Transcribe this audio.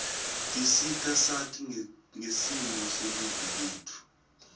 tisita sati ngesimo selive letfu